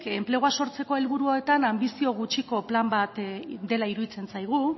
enplegua sortzeko helburuotan anbizio gutxiko plan bat dela iruditzen zaigu